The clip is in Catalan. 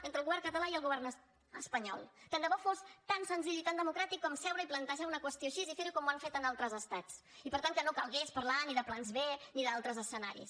entre el govern català i el govern espanyol tant de bo fos tan senzill i tan democràtic com seure i plantejar una qüestió així i fer ho com ho han fet en altres estats i per tant que no calgués parlar ni de plans b ni d’altres escenaris